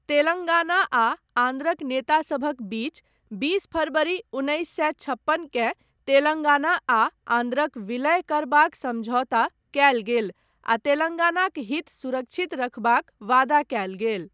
तेलङ्गाना आ आन्ध्रक नेतासभक बीच, बीस फरवरी उन्नैस सए छप्पनकेँ, तेलङ्गाना आ आन्ध्रक विलय करबाक समझौता कयल गेल आ तेलङ्गानाक हित सुरक्षित रखबाक वादा कयल गेल।